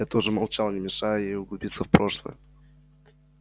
я тоже молчал не мешая ей углубиться в прошлое